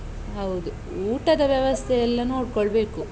ಹೌದು. ಊಟದ ವ್ಯವಸ್ಥೆ ಎಲ್ಲ ನೋಡ್ಕೋಳ್ಬೇಕು.